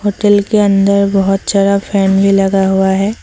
Hotel के अंदर बहोत सारा फैन भी लगा हुआ है।